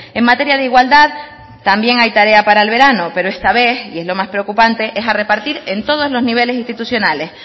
en materia de igualdad también hay tarea para el verano pero esta vez y es lo más preocupante es a repartir en todos los niveles institucionales